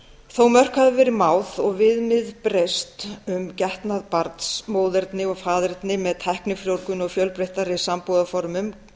þó að mörk hafi verið máð og viðmið breyst um getnað barns móðerni og faðerni með tæknifrjóvgun og fjölbreyttari sambúðarformum